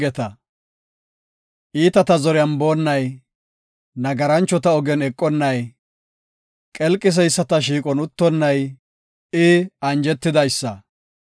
Iitata zoriyan boonnay, nagaranchota ogen eqonnay, qelqiseyisata shiiqon uttonnay, I anjetidaysa.